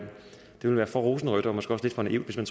for rosenrødt og måske også lidt for naivt at